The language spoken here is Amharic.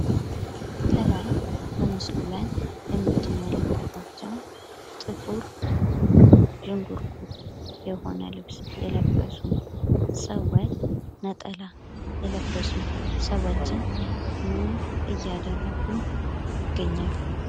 ከላይ ምስሉ ላይ የምትመለከቷቸው ጥቁር፣ ዥንጉርጉር የሆነ ልብስ የለበሱ ፣ነጠላ የለበሱ ሰዎች ምን እያደረጉ ይገኛል?